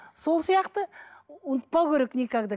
сол сияқты ұмытпау керек никогда